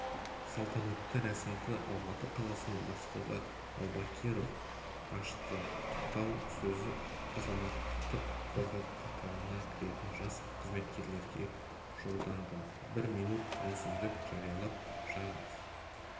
салтанатты рәсімді алматы қаласының бастығы аубакиров ашты құттықтау сөзі азаматтық қорғау қатарына кіретін жас қызметкерлерге жолданды бір минут үнсіздік жариялап қаза